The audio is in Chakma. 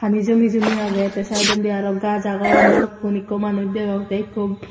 pani jumi jumi agey te sideondi arw gaj agon balukkun ikko manuj degong te ikko.